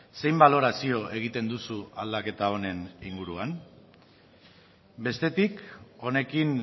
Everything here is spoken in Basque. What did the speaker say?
zein balorazio egiten duzu aldaketa honen inguruan bestetik honekin